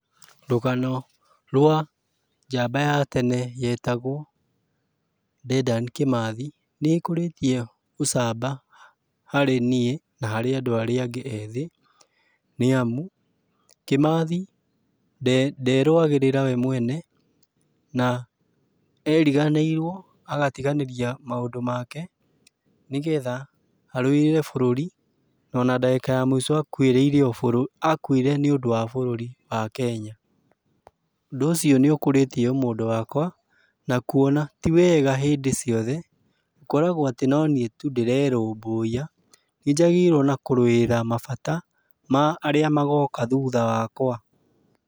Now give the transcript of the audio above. Rũgano rwa, njamba ya tene, yetagũo Dedan Kĩmathi, nĩĩkũrĩtie ũcamaba harĩ niĩ na harĩ andũa arĩa angĩ ethĩ, nĩamu, Kĩmathi nderũagĩrĩra we mwene, na eriganĩirũo, agatiganĩria maũndũ make, nĩgetha arũĩrĩre bũrũri. Na ona ndagĩka ya mũico akuĩrĩire akuire nĩũndũ wa bũrũri wa Kenya. Ũndũ ũcio nĩũkũrĩtie ũmũndũ wakwa, na kuona tiwega hĩndĩ ciothe, gũkoragũo atĩ no niĩ tu ndĩrerũmbũiya. Nĩnjagĩrĩirũo ona kũrũĩra mabata, ma arĩa magoka thutha wakwa.